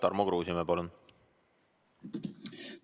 Tarmo Kruusimäe, palun!